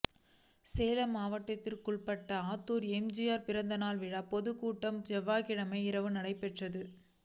சேலம் மாவட்டத்துக்குள்பட்ட ஆத்தூரில் எம்ஜிஆா் பிறந்த நாள் விழா பொதுக் கூட்டம் செவ்வாய்க்கிழமை இரவு நடைபெற்றது